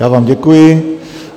Já vám děkuji.